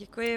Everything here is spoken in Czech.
Děkuji.